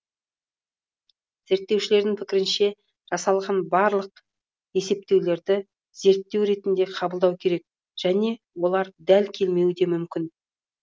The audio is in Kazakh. зерттеушілердің пікірінше жасалған барлық есептеулерді зерттеу ретінде қабылдау керек және олар дәл келмеуі де мүмкін